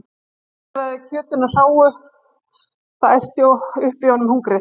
Hann bragðaði á kjötinu hráu- það æsti upp í honum hungrið.